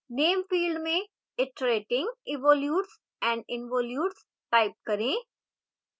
name field में iterating evolutes and involutes type करें